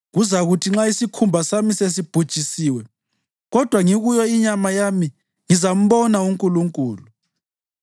Kuzakuthi nxa isikhumba sami sesibhujisiwe, kodwa ngikuyo inyama yami ngizambona uNkulunkulu;